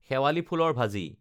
শেৱালী ফুলৰ ভাজি